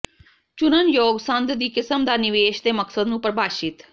ਚੁਣਨਯੋਗ ਸੰਦ ਦੀ ਕਿਸਮ ਦਾ ਨਿਵੇਸ਼ ਦੇ ਮਕਸਦ ਨੂੰ ਪ੍ਰਭਾਸ਼ਿਤ